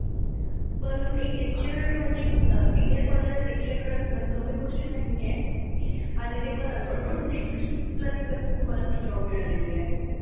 पण एक lecturer म्हणजे अह senior college ला lecturer असण कमी गोष्ट नाहीये आणि ते पण जस तुमच education तसंच तुम्हाला ती job मिळालेली आहे.